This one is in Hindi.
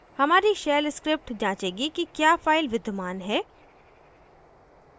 हमारी shell script जांचेगी कि क्या फाइल विद्यमान है